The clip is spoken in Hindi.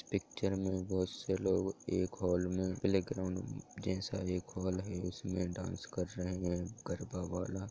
पिक्चर में बहुत से लोग एक हॉल में प्लेग्राउंड जैसा एक हॉल है उसमे डांस कर रहे है गरबा वाला।